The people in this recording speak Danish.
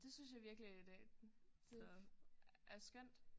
Det synes jeg virkelig et øh det er skønt